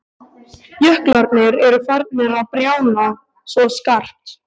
Jöklarnir eru farnir að bráðna svo skarpt.